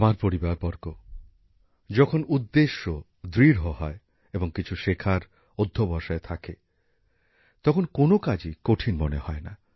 আমার পরিবারবর্গ যখন উদ্দেশ্য দৃঢ় হয় এবং কিছু শেখার অধ্যবসায় থাকে তখন কোন কাজই কঠিন মনে হয় না